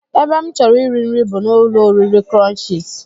Ebe m chọrọ iri nri bụ n'ụlọoriri crunchies